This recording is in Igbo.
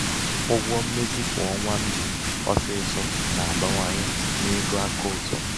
ụgwọ mmezi kwa ọnwa m ji ọsịsọ na-abawanye n'ego akaụtụ m.